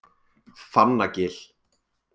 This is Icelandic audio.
Fannagil